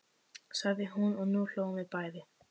sagði hún og nú hlógum við bæði.